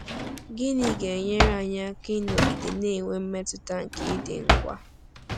Gịnị ga-enyere anyị aka ịnọgide na-enwe mmetụta nke ịdị ngwa?